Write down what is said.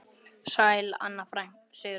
Sæl Anna Sigrún.